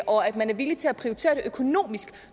og at man er villig til at prioritere det økonomisk